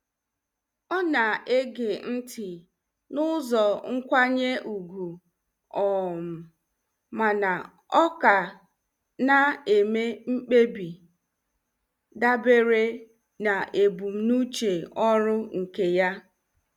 Ọ na-ege ntị n'ụzọ nkwanye ùgwù um mana ọ ka na-eme mkpebi dabere na ebumnuche ọrụ nke ya.